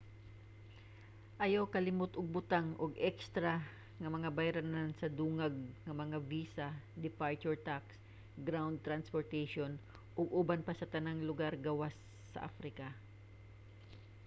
ayaw kalimot og butang og ekstra nga mga bayranan sa dungag nga mga visa departure tax ground transportation ug uban pa sa tanan lugar gawas sa africa